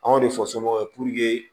Anw de fɔ somɔgɔw ye